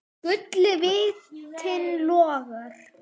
Guli vitinn logar.